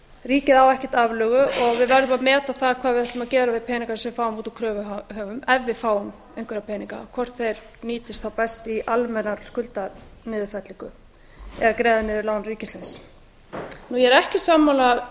ríkið á ekkert aflögu og við verðum að meta það hvað við ætlum að gera við peningana sem við fáum út úr kröfuhöfum ef við fáum einhverja peninga hvort þeir nýtist þá best í almenna skuldaniðurfellingu eða að greiða niður lán ríkisins ég er ekki sammála